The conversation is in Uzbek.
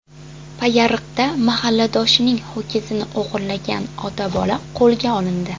Payariqda mahalladoshining ho‘kizini o‘g‘irlagan ota-bola qo‘lga olindi.